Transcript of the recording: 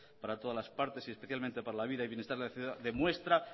para todas las partes y especialmente para la vida y bienestar de la ciudadanía demuestra